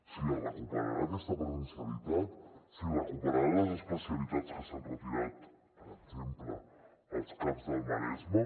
si es recuperarà aquesta presencialitat si recuperarà les especialitats que s’han retirat per exemple als caps del maresme